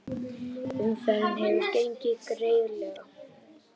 Umferðin hefur gengið greiðlega